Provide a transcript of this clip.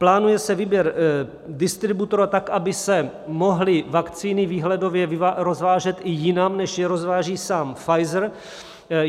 Plánuje se výběr distributora tak, aby se mohly vakcíny výhledově rozvážet i jinam, než je rozváží sám Pfizer.